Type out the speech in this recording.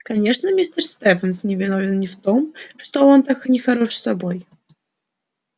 конечно мистер стефенс не виновен ни в том что он так и нехорош собой